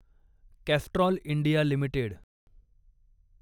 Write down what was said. Castrol India limited